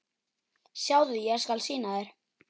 Sjáðu, ég skal sýna þér